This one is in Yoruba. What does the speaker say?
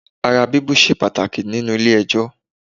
Ara bíbú ṣe pàtàkì nínú ilé ẹjọ́